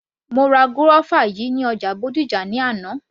Mo ra guava yìí ní ọjà Bódìjà ní àná